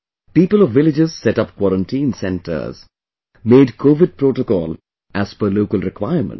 People of villages set up quarantine centres, made Covid protocol as per local requirements